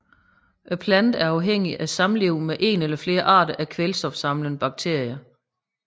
Planten er afhængig af samliv med én eller flere arter af kvælstofsamlende bakterier